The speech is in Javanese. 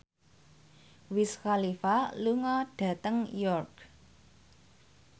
Wiz Khalifa lunga dhateng York